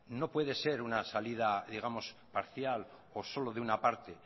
no puede ser una salida digamos parcial o solo de una parte